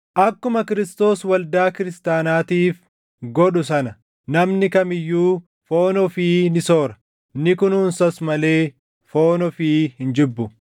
Akkuma Kiristoos waldaa kiristaanaatiif godhu sana namni kam iyyuu foon ofii ni soora; ni kunuunsas malee foon ofii hin jibbu;